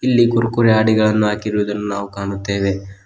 ಇಲ್ಲಿ ಕುರ್ಕುರೆ ಹಾಡಿಗೆಯನ್ನು ಹಾಕಿರುವುದನ್ನು ನಾವು ಕಾಣುತ್ತೇವೆ.